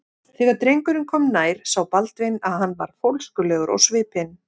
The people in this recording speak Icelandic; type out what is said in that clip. Þegar drengurinn kom nær sá Baldvin að hann var fólskulegur á svipinn.